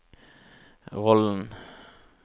rollen